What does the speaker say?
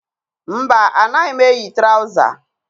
Mba, anaghị m eyi traụza